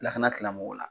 Lakana tigilamɔgɔw la